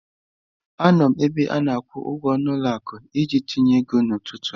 Anọ m na ebe ana-akwụ ụgwọ na ụlọ akụ iji tinye ego n'ụtụtụ a.